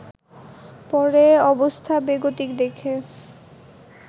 পরে অবস্থা বেগতিক দেখে